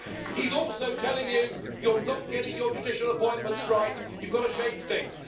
He's also telling you you're not getting your judicial appointments right, you've got to change things'.